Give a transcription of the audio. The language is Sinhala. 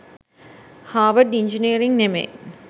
හාර්වර්ඩ් ඉන්ජිනියරිං නෙමෙයි.